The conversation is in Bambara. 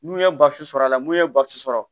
N'u ye sɔrɔ a la n'u ye sɔrɔ